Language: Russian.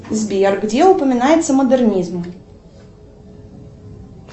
сбер где упоминается модернизм